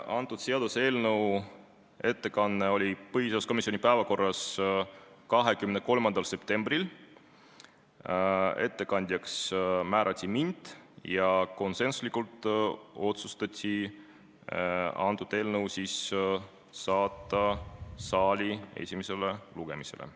Selle seaduseelnõu ettekanne oli põhiseaduskomisjoni päevakorras 23. septembril, ettekandjaks suures saalis määrati mind ja konsensuslikult otsustati saata eelnõu saali esimesele lugemisele.